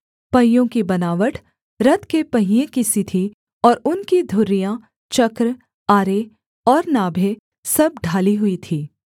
पहियों की बनावट रथ के पहिये की सी थी और उनकी धुरियाँ चक्र आरे और नाभें सब ढाली हुई थीं